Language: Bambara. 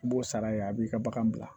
I b'o sara yen a b'i ka bagan bila